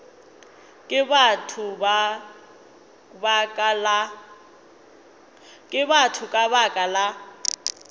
ke batho ka baka la